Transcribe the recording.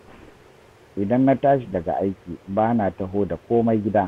Idan na tashi daga aiki, ba na taho da komai gida